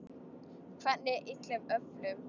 Hvernig illum öflum?